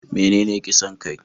Menene kisan kai?